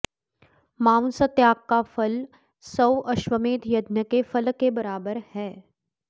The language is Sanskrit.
मांस त्याग का फल सौ अश्वमेध यज्ञ के फल के बराबर है